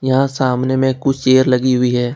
यहां सामने में कुछ चेयर लगी हुई है।